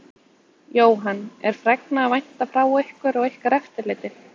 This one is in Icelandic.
Jóhann: Er fregna að vænta frá ykkur og ykkar eftirliti?